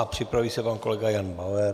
A připraví se pan kolega Jan Bauer.